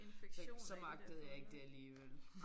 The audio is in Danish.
Så så magtede jeg ikke det alligevel